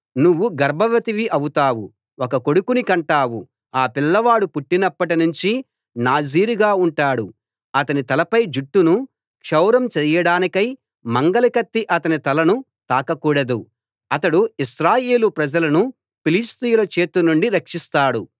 నువ్వు గర్భవతివి అవుతావు ఒక కొడుకుని కంటావు ఆ పిల్లవాడు పుట్టినప్పట్నించి నాజీర్ గా ఉంటాడు అతని తలపై జుట్టును క్షౌరం చేయడానికై మంగలి కత్తి అతని తలను తాక కూడదు అతడు ఇశ్రాయేలీ ప్రజలను ఫిలిష్తీయుల చేతి నుండి రక్షిస్తాడు